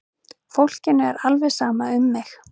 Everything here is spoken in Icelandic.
Fólkinu er alveg sama um mig!